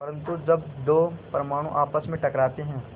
परन्तु जब दो परमाणु आपस में टकराते हैं